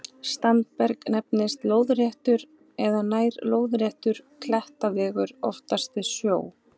Standberg nefnist lóðréttur eða nær-lóðréttur klettaveggur, oftast við sjó.